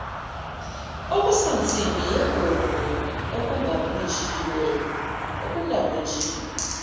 okusansimbi eyigugu okungabunjiwe